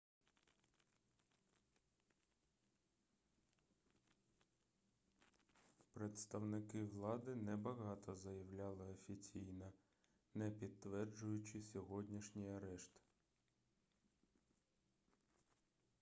представники влади небагато заявляли офіційно не підтверджуючи сьогоднішній арешт